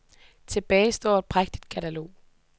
Tilbage står et prægtigt katalog.